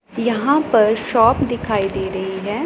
यहां पर शॉप दिखाई दे रही हैं।